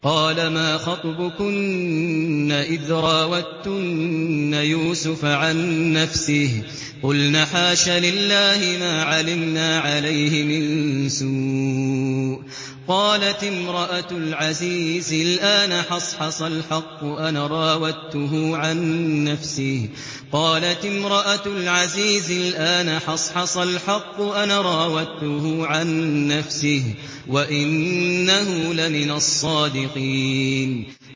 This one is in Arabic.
قَالَ مَا خَطْبُكُنَّ إِذْ رَاوَدتُّنَّ يُوسُفَ عَن نَّفْسِهِ ۚ قُلْنَ حَاشَ لِلَّهِ مَا عَلِمْنَا عَلَيْهِ مِن سُوءٍ ۚ قَالَتِ امْرَأَتُ الْعَزِيزِ الْآنَ حَصْحَصَ الْحَقُّ أَنَا رَاوَدتُّهُ عَن نَّفْسِهِ وَإِنَّهُ لَمِنَ الصَّادِقِينَ